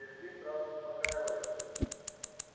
сергей сразу успокаивается